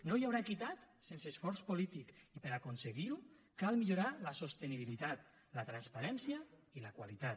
no hi haurà equitat sense esforç polític i per a aconseguir ho cal millorar la sostenibilitat la transparència i la qualitat